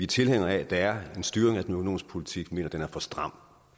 tilhængere af at der er en styring af den økonomiske politik vi mener den er for stram